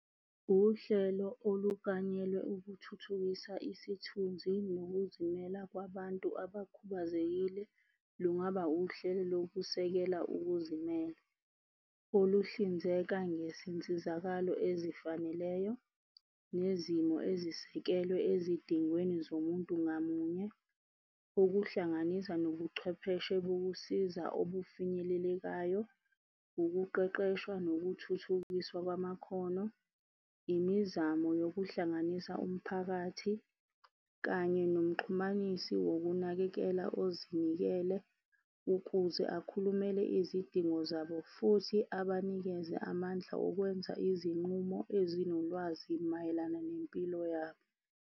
Uhlelo oluklanyelwe, ukuthuthukisa isithunzi nokuzimela kwabantu abakhubazekile lungaba uhlelo lokusekela ukuzime. Oluhlinzeka ngezinsizakalo ezifaneleyo nezimo ezisekelwe ezidingweni zomuntu ngamunye. Okuhlanganisa nobuchwepheshe bokusiza obufinyelelekayo, ukuqeqeshwa nokuthuthukiswa kwamakhono. Imizamo yokuhlanganisa umphakathi kanye nomxhumanisi nokunakekela ozinikele ukuze akhulumele izidingo zabo futhi abanikeze amandla okwenza izinqumo, ezinolwazi mayelana nempilo yabo.